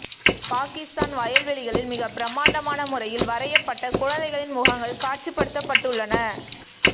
பாக்கிஸ்தான் வயல் வெளிகளில் மிகப் பிரமாண்டமான முறையில் வரையப்பட்ட குழந்தைகளின் முகங்கள் காட்சிப்படுத்தப்பட்டு உள்ளன